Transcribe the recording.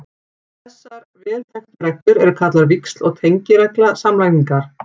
Þessar vel þekktu reglur eru kallaðar víxl- og tengiregla samlagningar.